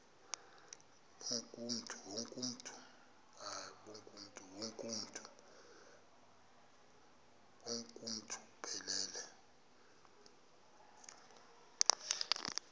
bonk uuntu buphelele